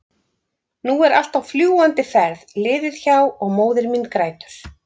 nú allt er á fljúgandi ferð liðið hjá- og móðir mín grætur.